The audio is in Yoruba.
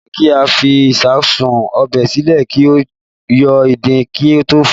Kò yẹ kí a fi ìsáàsùn ọbẹ̀ sílẹ̀ kí ó yọ ìdin kí a tó fọ̀ ọ́